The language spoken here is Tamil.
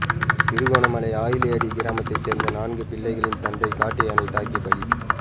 திருகோணமலை ஆயிலியடி கிராமத்தைச் சேர்ந்த நான்கு பிள்ளைகளின் தந்தை காட்டு யானை தாக்கி பலி